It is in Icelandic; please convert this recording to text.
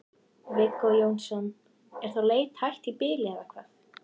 Viggó Jónsson: Er þá leit hætt í bili eða hvað?